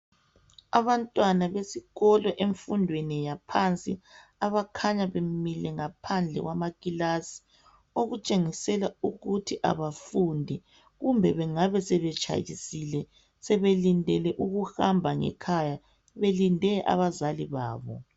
Abantwana besikolo emfundweni yaphansi abakhanya bemile ngaphandle kwamakilasi okutshengisela ukuthi abafundi kumbe bengabe sebetshayisile sebelindele ukuhamba ngekhaya belinde abazali babo.